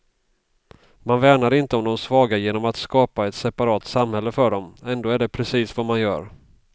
Man värnar inte om de svaga genom att skapa ett separat samhälle för dem, ändå är det precis vad man gör.